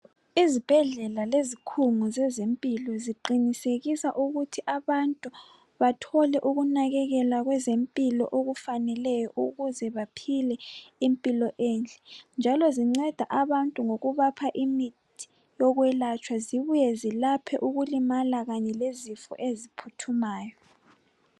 Izibhedlela lezikhungo zezempilo ziqinisekisa ukuthi abantu bathole ukunakekelwa kwezempilo okufaneleyo ukuze baphile impilo enhle. Zinceda abantu ngokubapha imithi yokwelatshwa zibuye zilaphe ukulimala kanye lezifo eziphuthumayo.